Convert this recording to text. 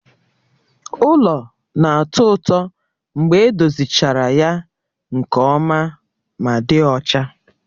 Ụlọ na-atọ ụtọ mgbe edozichara ya nke ọma ma dị ọcha